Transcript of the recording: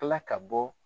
Kila ka bɔ